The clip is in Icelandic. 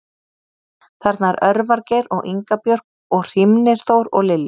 Þarna er Örvar Geir og Inga Björk og Hrímnir Þór og Lilja